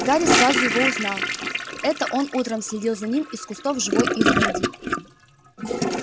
гарри сразу его узнал это он утром следил за ним из кустов живой изгороди